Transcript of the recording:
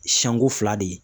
Siɲɛko fila de ye.